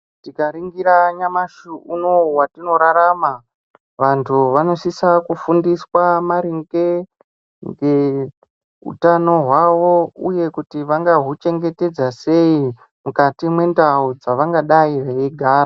Tikaningira nyamashi unou watinorarama vantu vanosisa kufundiswa maringe ngeutano hwavo uye kuti vangahuchengetedza sei mukati mwendau dzevangadayi veigara.